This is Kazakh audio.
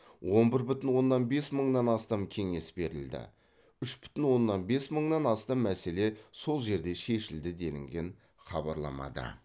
он бір бүтін оннан бес мыңнан астам кеңес берілді үш бүтін оннан бес мыңнан астам мәселе сол жерде шешілді делінген хабарламада